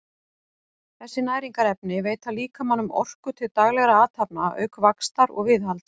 þessi næringarefni veita líkamanum orku til daglegra athafna auk vaxtar og viðhalds